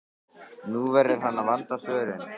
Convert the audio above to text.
Nú verður hann að vanda svörin.